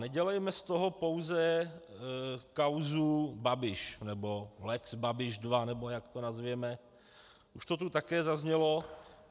Nedělejme z toho pouze kauzu Babiš nebo lex Babiš 2, nebo jak to nazveme, už to tu také zaznělo.